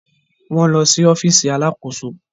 Wọn lọ si ọfiisi alàkóso